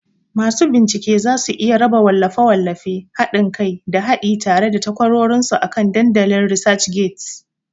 Masu bincike za su iya raba wallafe-wallafe, haɗin kai, da haɗi tare da takwarorinsu akan dandalin ResearchGates.